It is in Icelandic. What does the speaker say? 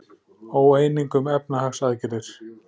Óeining um efnahagsaðgerðir